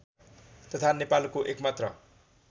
तथा नेपालको एकमात्र